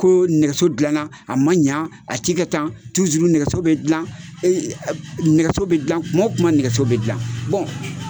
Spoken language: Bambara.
Ko nɛgɛso dilana a ma ɲa a ti ka tan nɛgɛso bɛ dilan nɛgɛ bɛ dilan kuma o kuma nɛgɛso bɛ dila